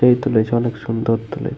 যেই তুলেছে অনেক সুন্দর তুলেছে।